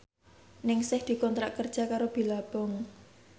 Ningsih dikontrak kerja karo Billabong